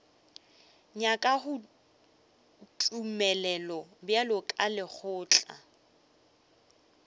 nyakago tumelelo bjalo ka lekgotla